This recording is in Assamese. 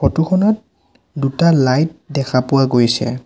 ফটো খনত দুটা লাইট দেখা পোৱা গৈছে।